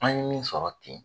An ye min sɔrɔ ten